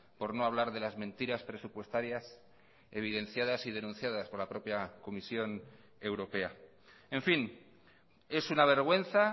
por no hablar de las mentiras presupuestarias evidenciadas y denunciadas por la propia comisión europea en fin es una vergüenza